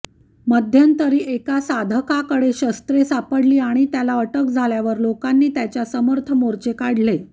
मध्यंतरी एका साधकाकडे शस्त्रे सापडली आणि त्याला अटक झाल्यावर लोकांनी त्याच्या समर्थ मोर्चे काढलेले